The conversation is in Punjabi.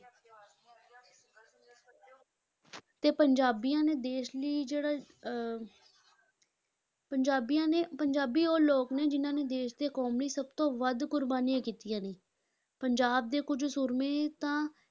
ਤੇ ਪੰਜਾਬੀਆਂ ਨੇ ਦੇਸ ਲਈ ਜਿਹੜਾ ਅਹ ਪੰਜਾਬੀਆਂ ਨੇ ਪੰਜਾਬੀ ਉਹ ਲੋਕ ਨੇ ਜਿਨ੍ਹਾਂ ਨੇ ਦੇਸ਼ ਤੇ ਕੌਮ ਲਈ ਸਭ ਤੋਂ ਵੱਧ ਕੁਰਬਾਨੀਆਂ ਕੀਤੀਆਂ ਨੇ, ਪੰਜਾਬ ਦੇ ਕੁੱਝ ਸੂਰਮੇ ਤਾਂ